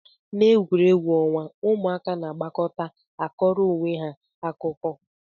Na egwuregwu onwa, ụmụaka na agbakọta akọrọ onweha akụkọ.